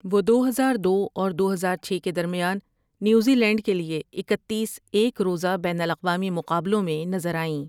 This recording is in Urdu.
وہ دو ہزار دو اور دو ہزار چھ کے درمیان نیوزی لینڈ کے لیے اکتیس ایک روزہ بین الاقوامی مقابلوں میں نظر آئیں ۔